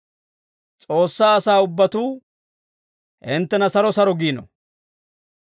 S'oossaa asaa ubbatuu hinttena saro saro giino.